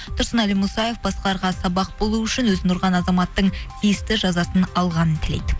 тұрсынәлі мұсаев басқаларға сабақ болу үшін өзін ұрған азаматтың тиісті жазасын алғанын тілейді